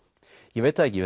ég veit það ekki